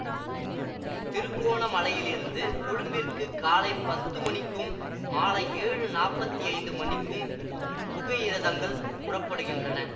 திருக்கோணமலையில் இருந்து கொழும்பிற்கு காலை பத்து மணிக்கும் மாலை ஏழு நாப்பத்தி ஐந்து மணிக்கும் புகையிரதங்கள் புறப்படுகின்றன